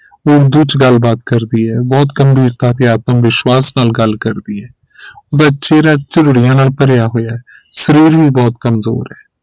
ਉਰਦੂ ਚ ਗੱਲ ਬਾਤ ਕਰਦੀ ਹੈ ਬਹੁਤ ਗੰਭੀਰਤਾ ਤੇ ਆਤਮਵਿਸ਼ਵਾਸ ਨਾਲ ਗਲ ਕਰਦੀ ਹੈ ਚੇਹਰਾ ਨਾਲ ਭਰਿਆ ਹੋਇਆ ਸ਼ਰੀਰ ਵੀ ਬਹੁਤ ਕਮਜ਼ੋਰ ਹੈ